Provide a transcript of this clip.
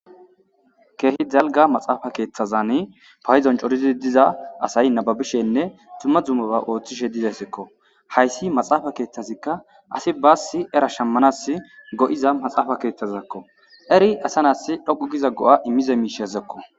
Kehi dalga maxafa kethazani payidon co,ora gididi diza asayi nababishenne duma dumaba otishe dizayisako hayisi maxafa kethazka asi basi era shamanawu go,iza maxafa kethazako Eric asa na,si dhoqu giza go,a imiza mishako